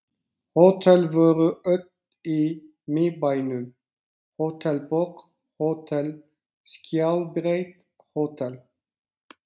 Hótel voru öll í Miðbænum: Hótel Borg, Hótel Skjaldbreið, Hótel